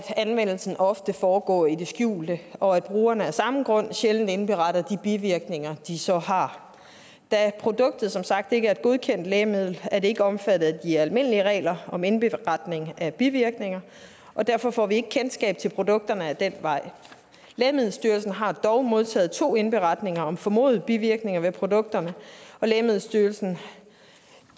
anvendelsen ofte foregår i det skjulte og at brugerne af samme grund sjældent indberetter de bivirkninger de så har da produktet som sagt ikke er et godkendt lægemiddel er det ikke er omfattet af de almindelige regler om indberetning af bivirkninger og derfor får vi ikke kendskab til produkterne ad den vej lægemiddelstyrelsen har dog modtaget to indberetninger om formodede bivirkninger ved produkterne lægemiddelstyrelsen